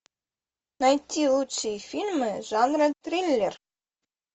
найти лучшие фильмы жанра триллер